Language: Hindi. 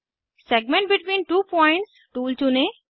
segment between two points tool चुनें